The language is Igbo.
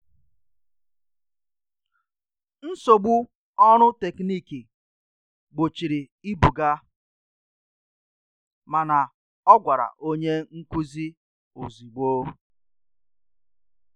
Nsogbu ọrụ teknịkị gbochiri ibuga, mana ọ gwara onye nkụzi ozugbo